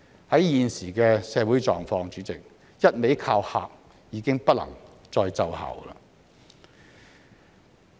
在現時的社會狀況，主席，"一味靠嚇"已經不能再奏效。